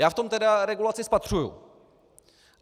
Já v tom tedy regulaci spatřuji.